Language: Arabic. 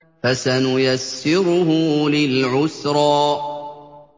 فَسَنُيَسِّرُهُ لِلْعُسْرَىٰ